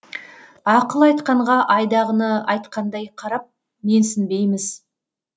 ақыл айтқанға айдағыны айтқандай қарап менсінбейміз